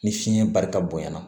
Ni fiɲɛ barika bonyana